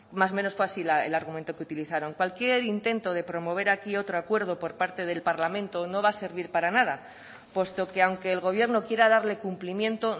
más o menos fue así el argumento que utilizaron cualquier intento de promover aquí otro acuerdo por parte del parlamento no va a servir para nada puesto que aunque el gobierno quiera darle cumplimiento